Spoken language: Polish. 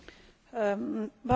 Panie Przewodniczący!